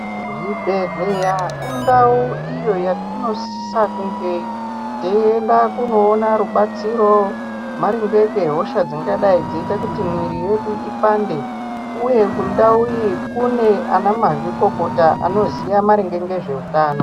Zvibhedhleya indau iyo yatinosisa kunge teienda kunoona rubatsiro maringe ngehosha dzinoita kuti mwiri yedu ipande uye kundau iyi kune ana mazvikokota anoziya ngezveutano.